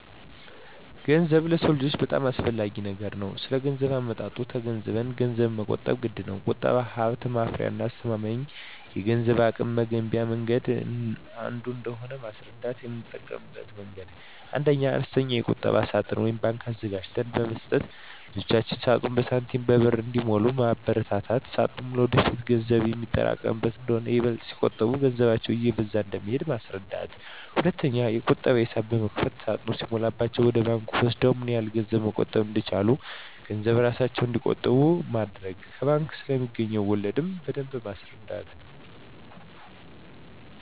ገንዘብ ለሰው ልጆች በጣም አስፈላጊ ነገር ነው ስለገንዘብ አመጣጡ ተገንዝበንም ገንዘብን መቆጠብ ግድነው። ቁጠባ ሀብት ማፍሪያና አስተማማኝ የገንዘብ አቅም መገንቢያ መንገድ አንዱ እንደሆነ ማስረዳት: የምጠቀምበት መንገድ 1ኛ, አነስተኛ የቁጠባ ሳጥን (ባንክ) አዘጋጅተን በመስጠት ልጆች ሳጥኑን በሳንቲሞችና በብር እንዲሞሉ ማበርታት ሳጥኑ ለወደፊት የሚሆን ገንዘብ የሚያጠራቅሙበት እንደሆነና ይበልጥ ሲቆጥቡ ገንዘባቸው እየበዛ እንደሚሄድ ማስረዳት። 2ኛ, የቁጠባ ሂሳብ በመክፈት ሳጥኑ ሲሞላላቸው ወደ ባንክ ወስደው ምን ያህል ገንዘብ መቆጠብ እንደቻሉ ገንዘቡን እራሳቸው እንዲቆጥሩ ማድረግ። ከባንክ ስለማገኙት ወለድ ማስረዳት።